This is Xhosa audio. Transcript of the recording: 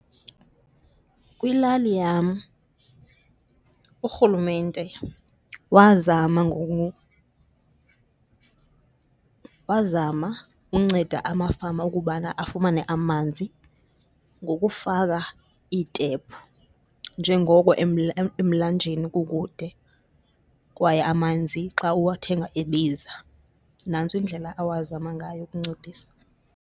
Kwilali yam, urhulumente wazama wazama unceda amafama ukubana afumane amanzi ngokufaka iitephu njengoko emlanjeni kukude kwaye amanzi xa uwathenga ebiza. Nantso indlela awazama ngayo ukuncedisana.